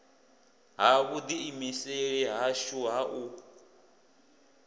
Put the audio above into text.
ha vhuḓiimiseli hashu ha u